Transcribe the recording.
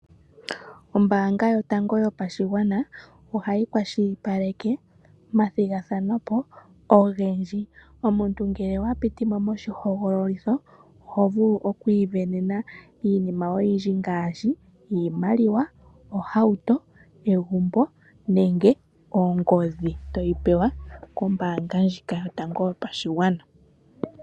Ombanga yotango yopashigwana ohayi kwashilipaleke omathigathano ogendji omuntu ngele owa pitimo moshihogololitho ohovulu okusindana iinima oyindji ngaashi iimaliwa, ohauto, egumbo nenge ongodhi toyi pewa kombaanga ndjika yotango yopashigwana.